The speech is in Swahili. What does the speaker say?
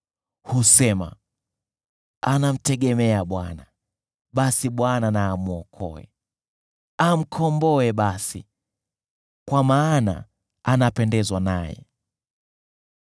Husema, “Anamtegemea Bwana , basi Bwana na amwokoe. Amkomboe basi, kwa maana anapendezwa naye.”